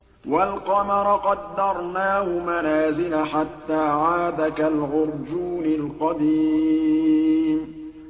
وَالْقَمَرَ قَدَّرْنَاهُ مَنَازِلَ حَتَّىٰ عَادَ كَالْعُرْجُونِ الْقَدِيمِ